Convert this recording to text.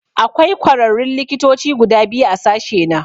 Akwai kwararrun likitoci guda biyu a sashena.